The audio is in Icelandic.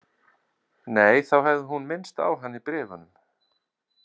Nei, þá hefði hún minnst á hann í bréfunum.